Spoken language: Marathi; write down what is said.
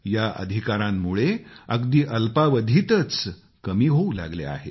या अधिकारांमुळे अगदी अल्पावधीतच शेतकऱ्यांना होणारे त्रास कमी होऊ लागले आहेत